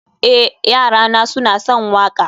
eh, yarana suna son waƙa